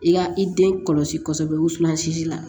I ka i den kɔlɔsi kosɛbɛ wusulan si la